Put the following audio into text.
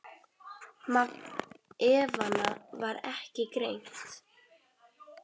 Magn efnanna var ekki greint.